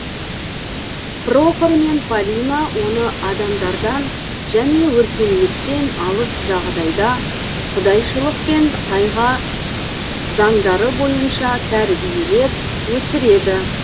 прохор мен палина оны адамдардан және өркениеттен алыс жағдайда құдайшылық пен тайга заңдары бойынша тәрбиелеп өсіреді